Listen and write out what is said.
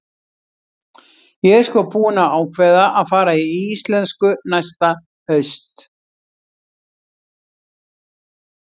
Ég er sko búin að ákveða að fara í íslensku næsta haust.